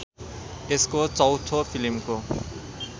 यसको चौथो फिल्मको